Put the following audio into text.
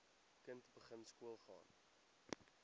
kind begin skoolgaan